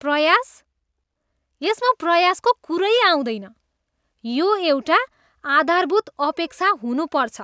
प्रयास? यसमा प्रयासको कुरै आउँदैन, यो एउटा आधारभूत अपेक्षा हुनुपर्छ।